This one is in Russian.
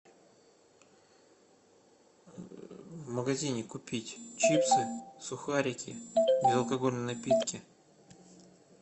в магазине купить чипсы сухарики безалкогольные напитки